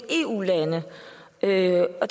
eu